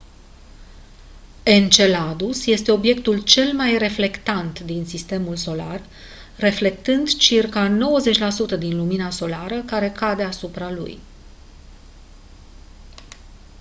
enceladus este obiectul cel mai reflectant din sistemul solar reflectând circa 90 la sută din lumina solară care cade asupra lui